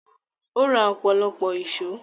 Ó ra ọ̀pọ̀lọpọ̀ èsó.